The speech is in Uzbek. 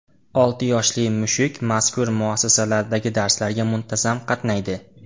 Olti yoshli mushuk mazkur muassasalardagi darslarga muntazam qatnaydi.